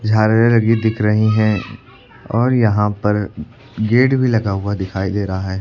झालरें लगी दिख रही हैं और यहां पर गेट भी लगा हुआ दिखाई दे रहा है।